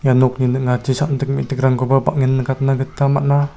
nokni ning·achi sam·dik me·dikrangkoba bang·en nikatna gita man·a.